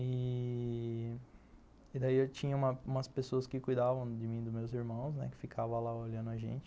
E... daí eu tinha umas pessoas que cuidavam de mim e dos meus irmãos, né, que ficavam lá olhando a gente.